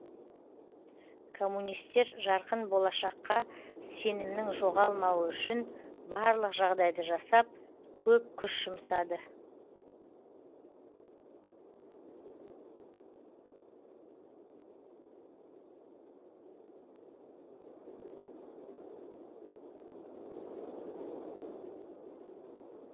коммунистер жарқын болашаққа сенімнің жоғалмауы үшін барлық жағдайды жасап көп күш жұмсады